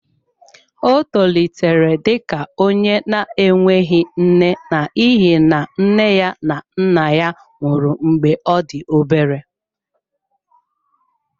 Ọ tolitere dị ka onye na-enweghị nne n'ihi na nne na nna ya nwụrụ mgbe ọ dị obere.